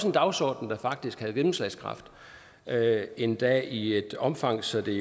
en dagsorden der faktisk havde gennemslagskraft endda i et omfang så det